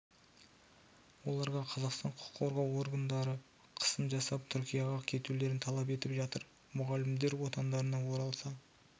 оларға қазақстан құқық қорғау орындары қысым жасап түркияға кетулерін талап етіп жатыр мұғалімдер отандарына оралса